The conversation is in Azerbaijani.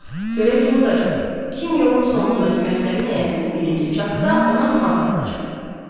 Görək kim udacaq, kim yolun sonundakı məktəbin həyətinə birinci çatsa, ona Fanta alacam.